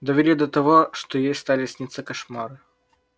довели до того что ей стали сниться кошмары